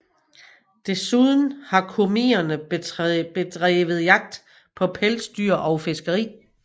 Desuden har komierne bedrevet jagt på pelsdyr og fiskeri